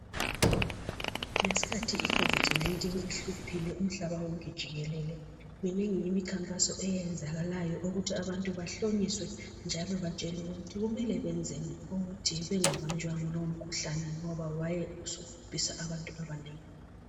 Ngesikhathi icovid 19 ihluphile umhlaba wonke jikelele minengi imikhankaso eyenzakalayo ukuthi abantu bahlonyiswe njalo batshelwe ukuthi kumele benzeni ukuze bangabanjwa yilowo mkhuhlane ngoba wawusubhubhise abantu abanengi.